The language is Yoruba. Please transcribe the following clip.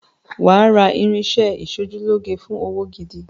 Wàá ra irinṣẹ́ ẹ ìṣojúlóge fún òwò gidi.